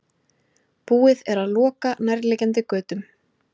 Búið er að loka nærliggjandi götum